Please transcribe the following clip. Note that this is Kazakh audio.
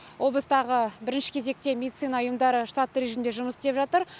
облыстағы бірінші кезекте медицина ұйымдары штатты режимде жұмыс істеп жатыр